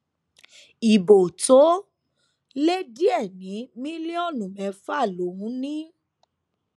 ibo tó lé díẹ ní mílíọnù mẹfà lòún ní